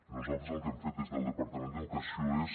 nosaltres el que hem fet des del departament d’educació és